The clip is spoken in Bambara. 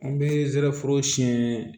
An bɛ zɛriforo siyɛn